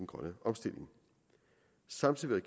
grønne omstilling samtidig vil